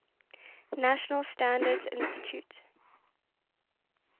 national standards institute